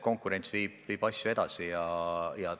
Konkurents viib asju edasi.